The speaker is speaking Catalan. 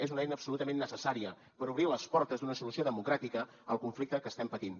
és una eina absolutament necessària per obrir les portes d’una solució democràtica al conflicte que estem patint